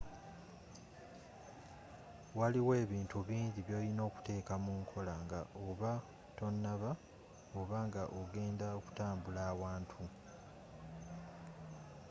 waliiyo ebintu bingi byoliina okuteka munkola nga oba tonaba oba nga ogenda okutambula awantu